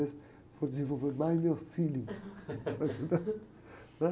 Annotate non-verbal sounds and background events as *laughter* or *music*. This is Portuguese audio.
Eu vou desenvolver mais meu feeling. *laughs*